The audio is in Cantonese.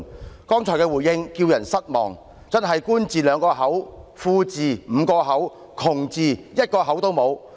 他剛才的回應叫人失望，真是"官字兩個口，富字5個口，窮字一個口也沒有"。